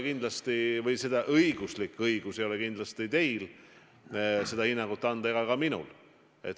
Kindlasti ei ole teil õigust selliseid hinnanguid anda ega ole ka minul.